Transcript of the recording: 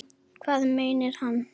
Hvað meinar hann?